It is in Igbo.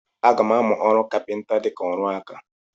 Aga m amụ ọrụ kapịnta dịka ọrụ aka.